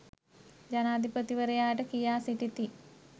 ජනාධිපතිවරයාට කියා සිටිති